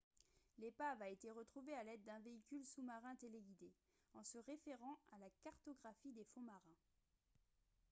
l'épave a été retrouvée à l'aide d'un véhicule sous-marin téléguidé en se référant à la cartographie des fonds marins